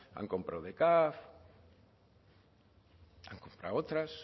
han comprado de caf han comprado otras